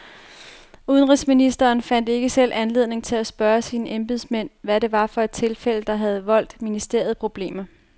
Udenrigsministeren fandt ikke selv anledning til at spørge sine embedsmænd, hvad det var for et tilfælde, der havde voldt ministeriet problemer.